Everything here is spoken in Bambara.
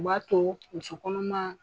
U b'a to musu kɔnɔma